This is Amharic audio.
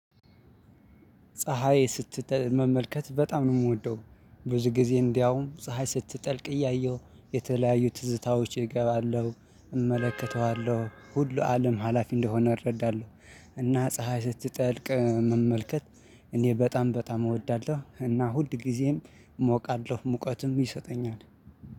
ፀሀይ ስትጠልቅ መመልከት በጣም ነው የምወደው። ብዙ ጊዜ እንዲያውም ፀሀይ ስትጠልቅ እያየሁ የተለያዩ ትዝታዎች እገባለሁ፣ እመለከተዋለሁ፣ ሁሉ አለም ሀላፊ እንደሆነ እረዳለሁ። እና ፀሀይ ስትጠልቅ መመልከት እኔ በጣም በጣም እወዳለሁ። እና ሁል ጊዜም እሞቃለሁ ሙቀቱም ይሰጠኛል።